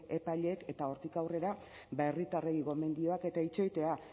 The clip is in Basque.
epaileek eta hortik aurrera ba herritarrei gomendioak eta itxoitea